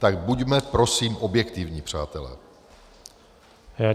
Tak buďme prosím, objektivní, přátelé.